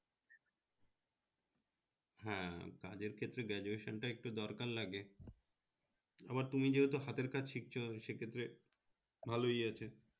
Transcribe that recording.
হ্যাঁ কাজের ক্ষেত্রে graduation টা একটু দরকার লাগে, আবার তুমি যেহেতু হাতের কাজ শিখছো সে ক্ষেত্রে ভালোই আছে